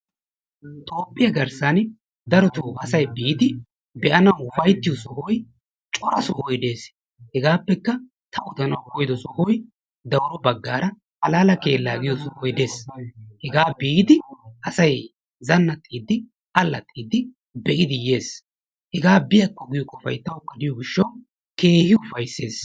Toophiyaa garsanni darottoo asay biddi be'anawu uffaytiyo sohoy coraa sohoy dees, hegappekka ta odanawu koyiddo sohoy dawuro bagaraa halala kelaa giyo sohoy de'ees hega biddi asay zanaxxiddi, alaxxidi biddi be'iddi yes, hega biyakko giyo qoffay tawukka de'iyo gishawu kehi ufayises.